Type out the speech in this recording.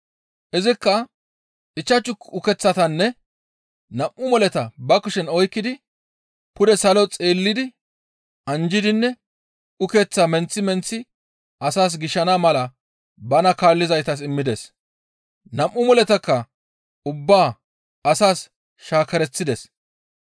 Izikka ichchashu ukeththatanne nam7u moleta ba kushen oykkidi pude salo xeellidi anjjidinne ukeththaa menththi menththi asaas gishana mala bana kaallizaytas immides; nam7u moletakka ubba asaas shaakereththides.